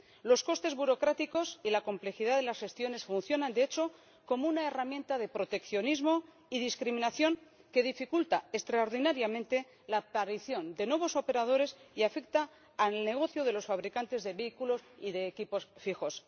Los costes burocráticos y la complejidad de las gestiones funcionan, de hecho, como una herramienta de proteccionismo y discriminación que dificulta extraordinariamente la aparición de nuevos operadores y afecta al negocio de los fabricantes de vehículos y equipos fijos.